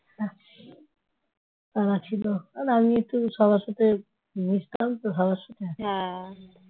হ্যাঁ তারা ছিল । আর আমি একটু সবার সাথে মিশতাম তো সবার সাথে।